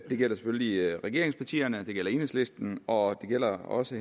det gælder selvfølgelig regeringspartierne det gælder enhedslisten og det gælder også